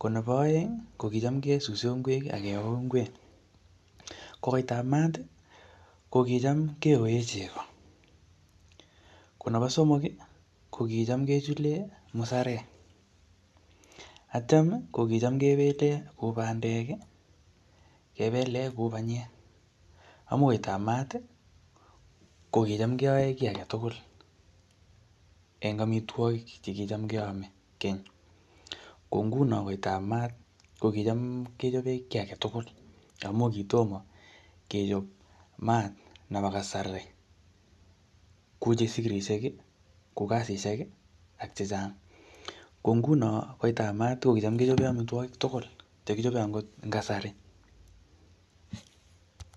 Ko nebo aeng, ko kicham kesuse ngwek, akeoo ngwek. Ko koitab maat, ko kicham keyoee chego. Ko nebo somok, ko kicham kechule musarek. Atyam, ko kicham kebele bandek, kebele kou panyek. Amu koitab maat, ko kicham keyae kiy age tugul, eng amitwogik che kicham keame keny. Ko nguno koitab maat, ko kicham kechope kiy age tugul. Amuu kitomo kechop maat nebo kasari, kou chesikirishek, kou kasishek, ak chechang. Ko nguno koitab maat, ko kicham kechope amitwogik tugul che kichope angot eng kasari